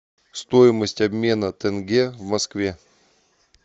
стоимость обмена тенге в москве